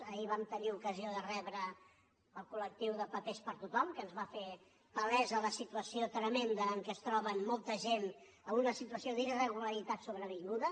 ahir vam tenir ocasió de rebre el col·lectiu de papers per a tothom que ens va fer palesa la situació tremenda en què es troba molta gent en una situació d’irregularitat sobrevinguda